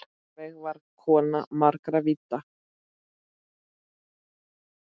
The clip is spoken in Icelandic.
Sólveig var kona margra vídda.